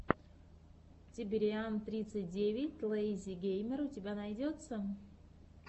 тибериан тридцать девять лэйзи геймер у тебя найдется